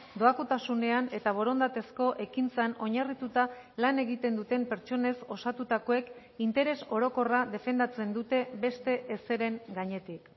doakotasunean eta borondatezko ekintzan oinarrituta lan egiten duten pertsonez osatutakoek interes orokorra defendatzen dute beste ezeren gainetik